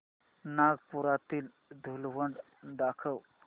नागपुरातील धूलवड दाखव